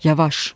Yavaş!